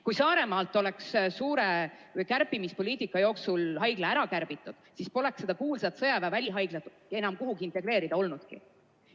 Kui Saaremaal oleks suure kärpimispoliitika ajal haigla likvideeritud, siis poleks seda kuulsat sõjaväe välihaiglat kuhugi integreerida olnudki.